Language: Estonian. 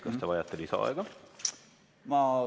Kas te vajate lisaaega?